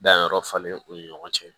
Danyɔrɔ falen u ni ɲɔgɔn cɛ